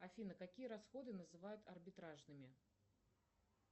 афина какие расходы называют арбитражными